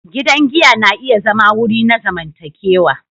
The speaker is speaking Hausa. Gidan giya na iya zama wuri na zamantakewa.